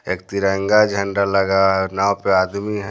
एक तिरंगा झंडा लगा है नौ --